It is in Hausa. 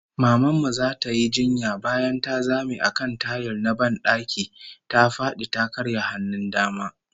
Maman mu zata yi jinya, bayan ta zame a kan tayil na ban daki, ta fadi ta karya hannun dama